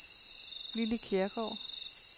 Lilly Kjærgaard